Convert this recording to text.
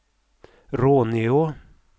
Råneå